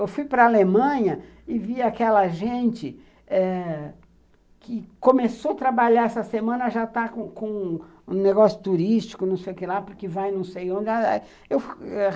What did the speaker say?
Eu fui para a Alemanha e vi aquela gente eh que começou a trabalhar essa semana, já está com com um negócio turístico, não sei o que lá, porque vai não sei onde.